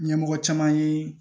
Ɲɛmɔgɔ caman ye